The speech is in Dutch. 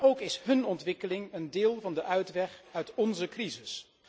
Maar ook is hun ontwikkeling een deel van de uitweg uit onze crisis.